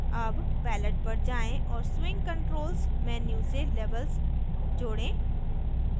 add palette पर जाएँ और swing controls menu से labels जोडें